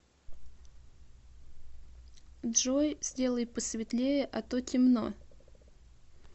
джой сделай посветлее а то темно